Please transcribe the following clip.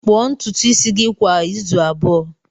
Kpuo ntutu isi gị kwa izu abụọ!